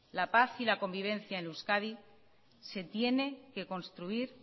la paz y la convivencia en euskadi se tienen que construir